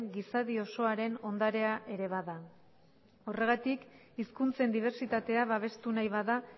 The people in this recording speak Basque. gizadi osoaren ondarea ere bada horregatik hizkuntzen dibertsitatea babestu nahi bada